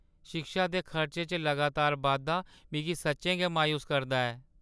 शिक्षा दे खर्चे च लगातार बाद्धा मिगी सच्चें गै मायूस करदा ऐ।